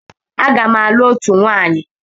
Aga m alụ òtù nwaanyi.